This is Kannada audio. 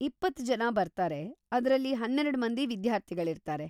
ಇಪ್ಪತ್ತ್‌ ಜನ ಬರ್ತಾರೆ, ಅದ್ರಲ್ಲಿ ಹನ್ನೆರಡ್‌ ಮಂದಿ ವಿದ್ಯಾರ್ಥಿಗಳಿರ್ತಾರೆ.